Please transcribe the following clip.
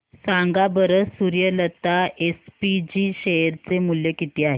सांगा बरं Suryalata SPG share चे मूल्य किती आहे